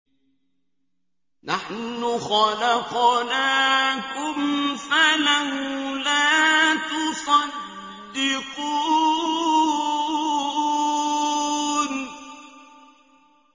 نَحْنُ خَلَقْنَاكُمْ فَلَوْلَا تُصَدِّقُونَ